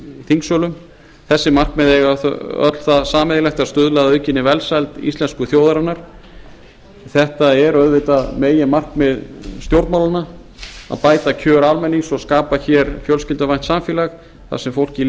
þingsölum þessi markmið eiga öll það sameiginlegt að stuðla að aukinni velsæld íslensku þjóðarinnar þetta er auðvitað meginmarkmið stjórnmálanna að bæta kjör almennings og skapa hér fjölskylduvænt samfélag þar sem fólki